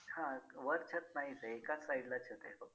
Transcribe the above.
हां वर छत नाहीच आहे एकाच side ला आहे फक्त